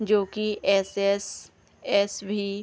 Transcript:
जो की एस.एस. एस.भी. --